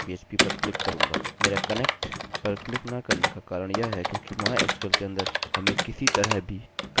मेरा कनेक्टconnect पर क्लिक न करने का कारण यह है क्योंकि mysql के अंदर हमें किसी तरह भी connect dot php की आवश्यकता होती है